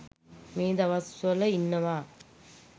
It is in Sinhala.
මේ දවස්වල ඉන්නවා.